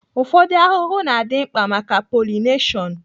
Ụfọdụ ahụhụ na-adị mkpa maka pọlịneshon